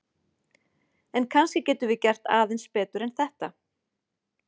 En kannski getum við gert aðeins betur en þetta!